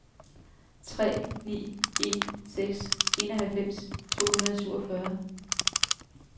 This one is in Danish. tre ni en seks enoghalvfems to hundrede og syvogfyrre